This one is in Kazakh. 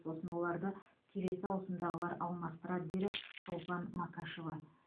сосын оларды келесі ауысымдағылар алмастырады деді шолпан макашева